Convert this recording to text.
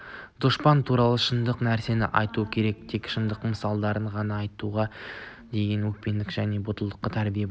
дұшпан туралы шындық нәрсені айту керек тек шындық мысалдарында ғана жауға деген өшпенділікке және батылдыққа тәрбиелеуге болады